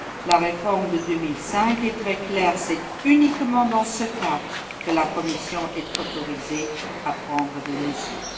La réforme de 2005 est très claire c'est uniquement dans ce cas que la Commission est autorisée à prendre des mesures.